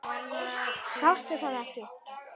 Sástu það ekki?